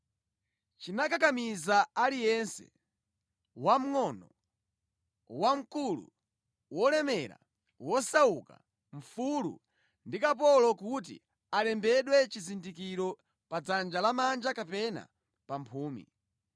Chinakakamiza aliyense, wamngʼono, wamkulu, wolemera, wosauka, mfulu ndi kapolo kuti alembedwe chizindikiro pa dzanja lamanja kapena pa mphumi.